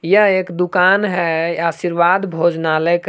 यह एक दुकान है आशीर्वाद भोजनालय का--